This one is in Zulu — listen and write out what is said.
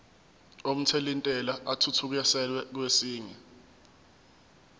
omthelintela athuthukiselwa kwesinye